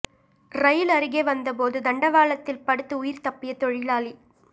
ரயில் அருகே வந்த போது தண்டவாளத்தில் படுத்து உயிர் தப்பிய தொழிலாளி